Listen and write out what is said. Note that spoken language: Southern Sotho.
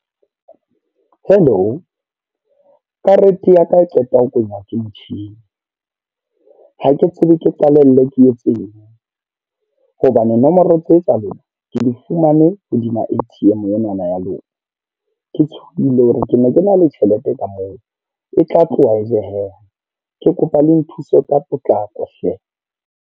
Hello. Karete ya ka e qeta ho kwenywa ke motjhini. Ha ke tsebe ke qalelle ke etseng. Hobane nomoro tse tsa lona, ke di fumane hodima A_T_M e na na ya lona. Ke tshohile hore ke ne ke na le tjhelete ka moo, e tla tloha e jeeha. Ke kopa le nthuse ka potlako hle.